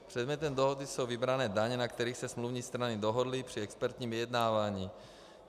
Předmětem dohody jsou vybrané daně, na kterých se smluvní strany dohodly při expertním vyjednávání.